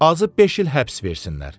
Azı beş il həbs versinlər.